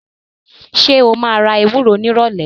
Ṣé o máa ra ewúro nírọ̀lẹ̀?